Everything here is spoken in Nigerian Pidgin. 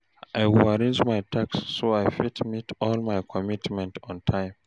I go arrange my tasks so I fit meet all my commitments on time.